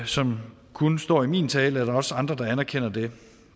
som kun står i min tale eller også andre der anerkender det